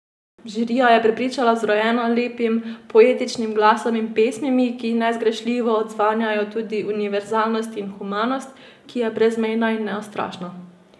Žirijo je prepričala z vrojeno lepim poetičnim glasom in pesmimi, ki nezgrešljivo odzvanjajo tudi univerzalnost in humanost, ki je brezmejna in neustrašna.